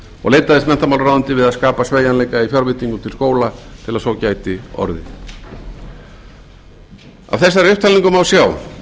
og leitaðist menntamálaráðuneytið eftir að skapa sveigjanleika í fjárveitingum til skóla til að svo gæti orðið af þessari upptalningu má sjá